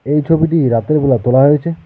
এই ছবিটি রাতের বেলা তোলা হয়েছে।